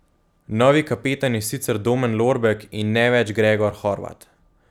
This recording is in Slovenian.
Novi kapetan je sicer Domen Lorbek, in ne več Gregor Horvat.